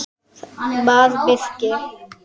bað Birkir.